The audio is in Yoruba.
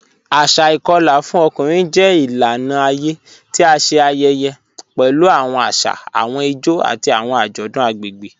Asà ìkọla fún ọkùnrin jẹ ilànà ayé tí à ṣé ayẹyẹ pẹ̀lú awọn àṣà, awọn ìjó, àti awọn ajọdun agbegbe.